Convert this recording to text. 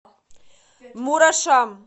мурашам